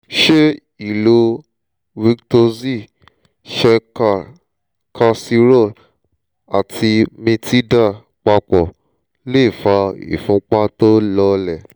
ṣé ìlo vitoxy shelcal calcirol ati metilda papọ̀ lè fa ìfúnpá tó lọọlẹ̀?